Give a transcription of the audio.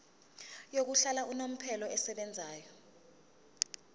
yokuhlala unomphela esebenzayo